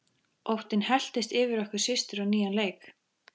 Óttinn helltist yfir okkur systur á nýjan leik.